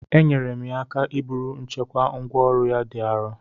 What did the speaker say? Enyere m ya aka iburu nchekwa ngwá ọrụ ya dị arọ